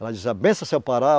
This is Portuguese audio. Ela dizia, benção seu Pará.